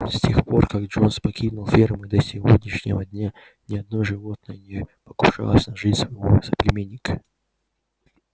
с тех пор как джонс покинул ферму и до сегодняшнего дня ни одно животное не покушалось на жизнь своего соплеменника